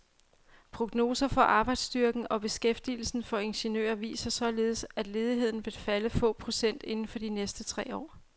Prognoser for arbejdsstyrken og beskæftigelsen for ingeniører viser således, at ledigheden vil falde til få procent inden for de næste tre år.